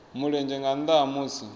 mulenzhe nga nnda ha musi